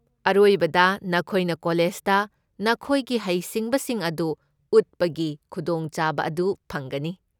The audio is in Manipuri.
ꯑꯔꯣꯏꯕꯗ ꯅꯈꯣꯏꯅ ꯀꯣꯂꯦꯖꯗ ꯅꯈꯣꯏꯒꯤ ꯍꯩꯁꯤꯡꯕꯁꯤꯡ ꯑꯗꯨ ꯎꯠꯄꯒꯤ ꯈꯨꯗꯣꯡꯆꯥꯕ ꯑꯗꯨ ꯐꯪꯒꯅꯤ꯫